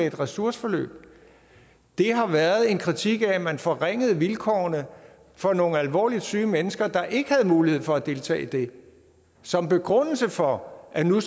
et ressourceforløb det har været en kritik af at man forringede vilkårene for nogle alvorligt syge mennesker der ikke havde mulighed for at deltage i det som begrundelse for at nu